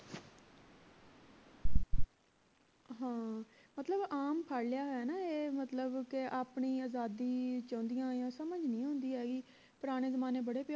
ਹਾਂ ਮਤਲਬ ਆਮ ਫੜ ਲਿਆ ਹੈ ਨਾ ਇਹ ਕਿ ਮਤਲਬ ਆਪਣੀ ਆਜ਼ਾਦੀ ਚਾਹੁੰਦੀਆਂ ਆ ਸਮਝ ਨਹੀਂ ਦੀ ਆਈ ਪੁਰਾਣੇ ਜਮਾਨੇ ਬੜੇ